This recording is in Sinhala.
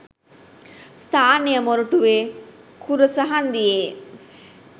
ස්ථානය මොරටුවේ කුරුස හංදියේ